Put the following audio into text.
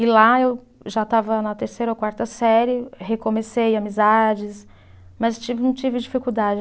E lá eu já estava na terceira ou quarta série, recomecei amizades, mas ti, não tive dificuldade.